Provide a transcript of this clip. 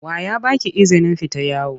Wa ya ba ki izinin fita yawo?